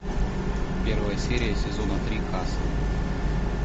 первая серия сезона три касл